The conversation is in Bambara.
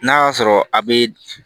N'a y'a sɔrɔ a bɛ